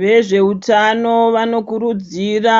Vezveutano vanokurudzira